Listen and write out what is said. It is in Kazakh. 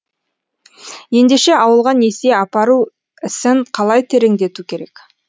ендеше ауылға несие апару ісін қалай тереңдету керек